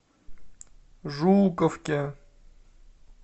жуковке